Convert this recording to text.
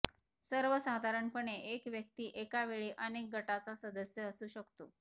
सर्वसाधारणपणे एक व्यक्ती एकावेळी अनेक गटाचा सदस्य असू शकतो